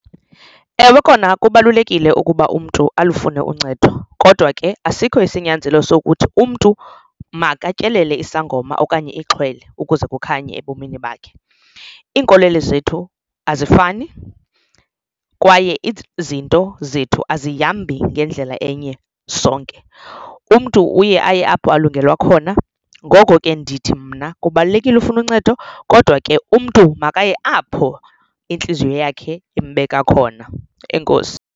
Ewe, kona kubalulekile ukuba umntu alufune uncedo kodwa ke asikho isinyanzelo sokuthi umntu makatyelele isangoma okanye ixhwele ukuze kukhanye ebomini bakhe. Iinkolelo zethu azifani kwaye izinto zethu azihambi ngendlela enye sonke umntu uye aye apho alungelwa khona. Ngoko ke ndithi mna kubalulekile ufune uncedo kodwa ke umntu makaye apho intliziyo yakhe imbeka khona, enkosi.